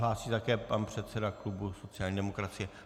Hlásí se také předseda klubu sociální demokracie.